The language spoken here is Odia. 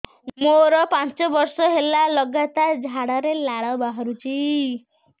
ମୋରୋ ପାଞ୍ଚ ବର୍ଷ ହେଲା ଲଗାତାର ଝାଡ଼ାରେ ଲାଳ ବାହାରୁଚି